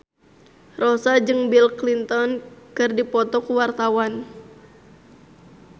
Rossa jeung Bill Clinton keur dipoto ku wartawan